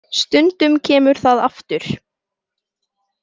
Stundum kemur það aftur.